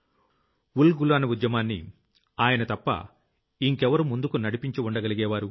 ఉల్ గులాన్ ఉద్యమాన్ని ఆయన తప్ప ఇంకెవరు ముందుకు నడిపించగలిగుండేవారు